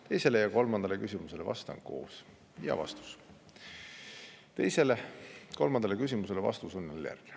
Teisele ja kolmandale küsimusele vastan koos, vastus on järgmine.